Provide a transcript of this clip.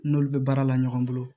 N'olu bɛ baara la ɲɔgɔn bolo